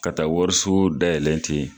Ka taa wariso dayɛlɛ ten